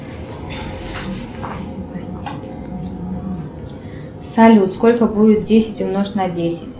салют сколько будет десять умножить на десять